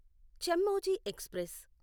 Chemmozhi express